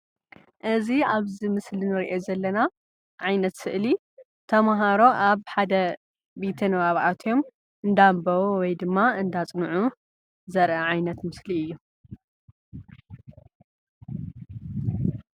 እዚ ኣብዚ ምስሊ እንሪኦ ዘለና ዓይነት ስእሊ ተምሃሮ ኣብ ሓደ ቤተ ንባብ ኣትዮም እንዳንበቡ ወይ ድማ እንዳፅንዑ ዘርኢ ዓይነት ምስሊ እዩ።